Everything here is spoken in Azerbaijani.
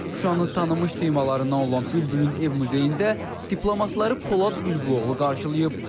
Şuşanın tanınmış simalarından olan Bülbülün ev muzeyində diplomatları Polad Bülbüloğlu qarşılayıb.